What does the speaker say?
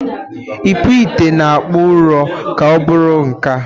Ikpụ ite na-akpụ ụrọ ka ọ bụrụ nka.